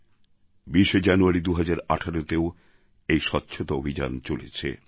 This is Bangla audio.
২০শে জানুয়ারি ২০১৮তেও এই স্বচ্ছতা অভিযান চলেছে